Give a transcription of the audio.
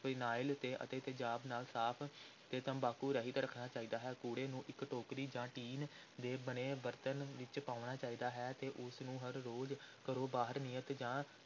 phenyl ਤੇ ਅਤੇ ਤੇਜ਼ਾਬ ਨਾਲ ਸਾਫ਼ ਤੇ ਤੰਬਾਕੂ ਰਹਿਤ ਰੱਖਣਾ ਚਾਹੀਦਾ ਹੈ, ਕੂੜੇ ਨੂੰ ਇਕ ਟੋਕਰੀ ਜਾਂ ਟੀਨ ਦੇ ਬਣੇ ਬਰਤਨ ਵਿਚ ਪਾਉਣਾ ਚਾਹੀਦਾ ਹੈ ਤੇ ਉਸ ਨੂੰ ਹਰ ਰੋਜ਼ ਘਰੋਂ ਬਾਹਰ ਨਿਯਤ ਥਾਂ